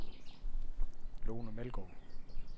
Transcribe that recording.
Lone Meldgaard